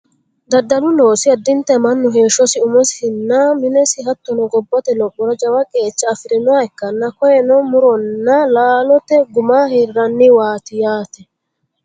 Daddalu loosi addinta mannu heeshshosi umosinna minesi hattono gobbate lophora jawa qeecha afirinoha ikkanna koyeeno muronna laalote gumma hirranniwaati yaate